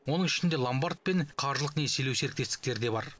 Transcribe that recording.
оның ішінде ломбард пен қаржылық несиелеу серіктестіктері де бар